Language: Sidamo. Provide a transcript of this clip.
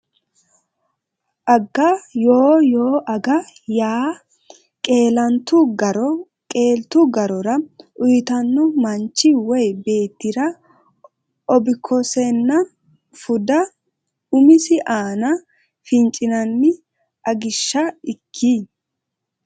aga Yoo Yoo aga yaa qeelantu garo qeeltu garora uytanno manchi woy beettira obbikosenna fuda umisi aana fincinanni Agishsho ikki !